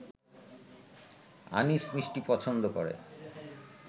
আনিস মিষ্টি পছন্দ করে।